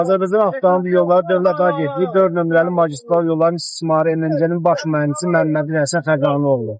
Azərbaycan Avtomobil Yolları Dövlət Agentliyi dörd nömrəli magistral yolların istismarı idarəsinin baş mühəndisi Məmmədov Həsən Fəqani oğlu.